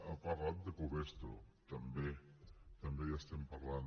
ha parlat de covestro també també hi estem parlant